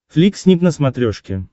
флик снип на смотрешке